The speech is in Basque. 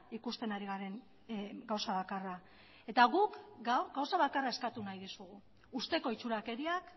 ikusten ari garen gauza bakarra eta guk gaur gauza bakarra eskatu nahi dizugu uzteko itxurakeriak